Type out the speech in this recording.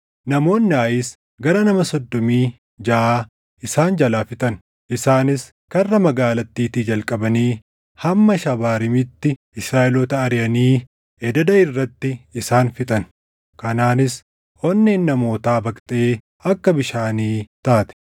namoonni Aayis gara nama soddomii jaʼa isaan jalaa fixan. Isaanis karra magaalattiitii jalqabanii hamma Shabaariimiitti Israaʼeloota ariʼanii ededa irratti isaan fixan; kanaanis onneen namootaa baqxee akka bishaanii taate.